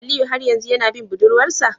Aliyu har yanzu yana bin budurwar sa?